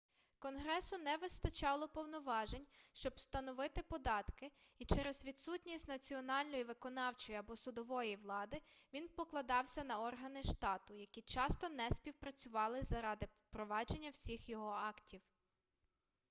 конгресу не вистачало повноважень щоб встановити податки і через відсутність національної виконавчої або судової влади він покладався на органи штату які часто не співпрацювали заради впровадження всіх його актів